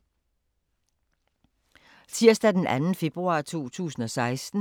Tirsdag d. 2. februar 2016